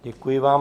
Děkuji vám.